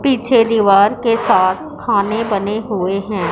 पीछे दीवार के साथ खाने बने हुए है।